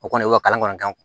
O kɔni o ye kalan kɔnɔntɔn